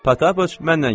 Patappıç, mənnən gedək.